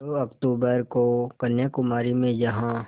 दो अक्तूबर को कन्याकुमारी में जहाँ